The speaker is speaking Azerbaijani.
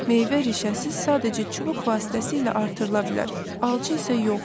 Meyvə rişəsiz sadəcə çubuq vasitəsilə artırıla bilər, alça isə yox.